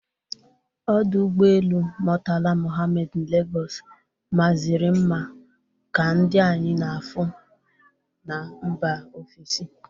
Ọdụ ụgbọelu Mọtala Mọhammed Legọs mazịri nma ka ndị anyị na-afụ na mba ofesi